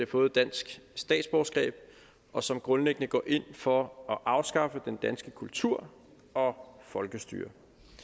fået et dansk statsborgerskab og som grundlæggende går ind for at afskaffe den danske kultur og folkestyret